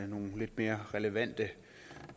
nogle lidt mere relevante